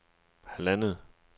halvandet